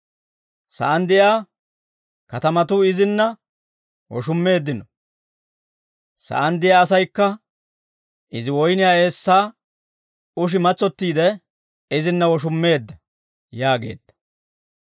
Sa'aan de'iyaa kaatatuu izinna woshummeeddino; sa'aan de'iyaa asaykka izi woyniyaa eessaa ushi matsottiide izinna woshummeedda» yaageedda.